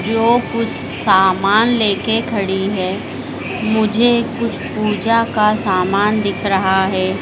जो कुछ सामान लेके खड़ी है मुझे कुछ पूजा का सामान दिख रहा है।